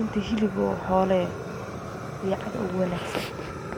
inti hilib oo xoolo eh riicadka aya ogu wanaagsan